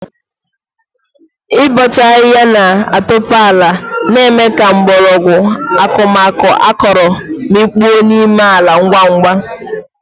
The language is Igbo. Ịbọcha ahịhịa na-atope ala ma mee ka mgbọrọgwụ akụmakụ akọrọ mikpuo n'ime ala ngwa ngwa.